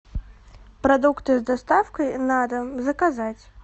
продукты с доставкой на дом заказать